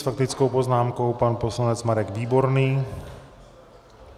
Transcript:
S faktickou poznámkou pan poslanec Marek Výborný.